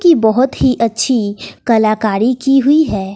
की बहोत ही अच्छी कलाकारी की हुई है।